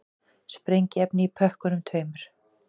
Sprengiefni í pökkunum tveimur